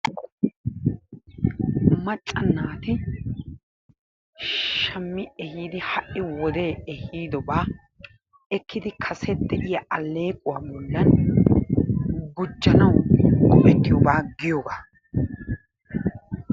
Macca naati shammi ehiidi ha'i wode ehiiddobaa ekkidi kase de'iya aleeqquwaa bollan gujjanawu go"ettiyobaa giyogaa.